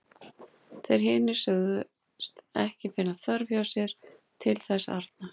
Þeir hinir sögðust ekki finna þörf hjá sér til þess arna.